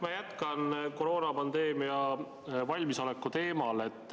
Ma jätkan koroonapandeemiaks valmisoleku teemal.